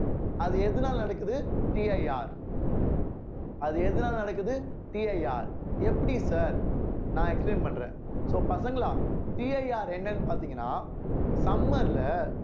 அது எதனால நடக்குது CIR அது எதனால நடக்குது CIR எப்படி sir நான் explain பண்றேன் so பசங்களா CIR என்னன்னு பார்த்தீங்கன்னா summer ல